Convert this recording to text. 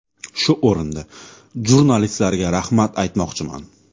Shu o‘rinda jurnalistlarga rahmat aytmoqchiman.